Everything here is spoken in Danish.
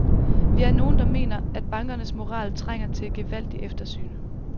Vi er nogle, der mener, at bankernes moral trænger til et gevaldigt eftersyn.